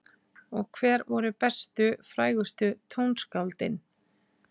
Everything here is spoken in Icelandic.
Og hver voru bestu og frægustu tónskáldin?